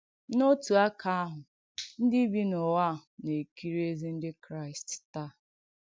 N’òtù àkà àhụ̄, ndí bì n’ùwà à na-èkìrì èzí Ndí Kràị̀st taa.